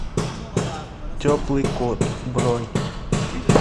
теплый кот бронь